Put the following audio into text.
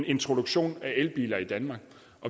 introducerer elbiler i danmark